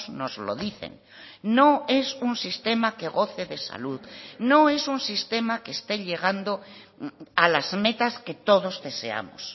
nos lo dicen no es un sistema que goce de salud no es un sistema que esté llegando a las metas que todos deseamos